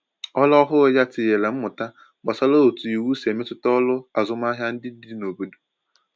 Ọrụ ọhụrụ ya tinyèrè mmụta gbasàra otu iwu si emetụta ọrụ azụmahịa ndị dị n’obodo